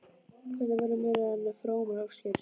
Þetta verða meira en frómar óskir.